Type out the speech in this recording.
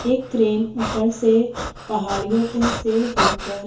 एक क्रेन ऊपर से पहाड़ियों पे से होकर--